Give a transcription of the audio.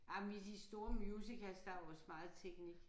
Jamen i de store musicals der er jo også meget teknik